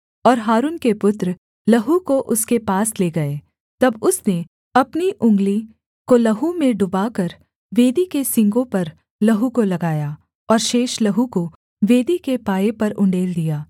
और हारून के पुत्र लहू को उसके पास ले गए तब उसने अपनी उँगली को लहू में डुबाकर वेदी के सींगों पर लहू को लगाया और शेष लहू को वेदी के पाए पर उण्डेल दिया